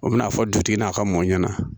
O bɛna fɔ dutigi n'a ka mɔ ɲɛna